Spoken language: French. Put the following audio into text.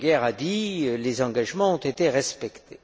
Bruguière a dit que les engagements ont été respectés.